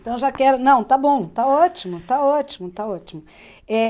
Então já quero, não, está bom, está ótimo, está ótimo, está ótimo.